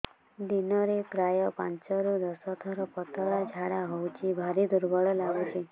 ଦିନରେ ପ୍ରାୟ ପାଞ୍ଚରୁ ଦଶ ଥର ପତଳା ଝାଡା ହଉଚି ଭାରି ଦୁର୍ବଳ ଲାଗୁଚି